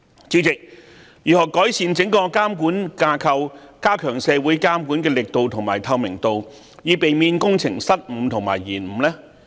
主席，如何改善整個監管架構，加強社會監管力度和透明度，以避免工程失誤和延誤呢？